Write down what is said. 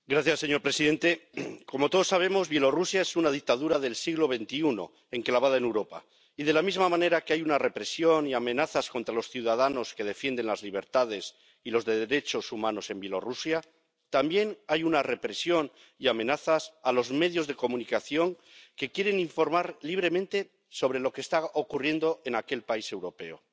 Señor presidente, como todos sabemos, Bielorrusia es una dictadura del siglo XXI, enclavada en Europa, y de la misma manera que hay represión y amenazas a los ciudadanos que defienden las libertades y los derechos humanos en Bielorrusia, también hay represión y amenazas a los medios de comunicación que quieren informar libremente sobre lo que está ocurriendo en aquel país europeo.